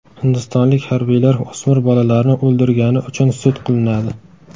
Hindistonlik harbiylar o‘smir bolalarni o‘ldirgani uchun sud qilinadi.